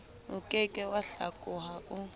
oke ke wa hlakoha o